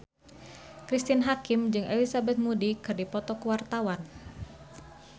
Cristine Hakim jeung Elizabeth Moody keur dipoto ku wartawan